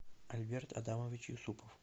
альберт адамович юсупов